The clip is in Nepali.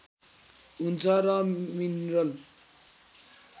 हुन्छ र मिनरल